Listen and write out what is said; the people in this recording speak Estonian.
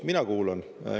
Mina kuulan.